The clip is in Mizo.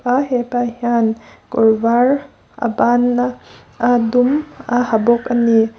chuan hepa hian kawr var a ban a a dum a ha bawk ani.